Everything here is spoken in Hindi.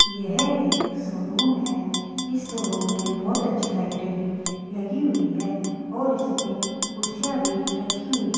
यह एक शोरूम है इस शोरूम में बहोत अच्छी लाइटें भी लगी हुई है और इसमें कुर्सियां भी रखी हुई है।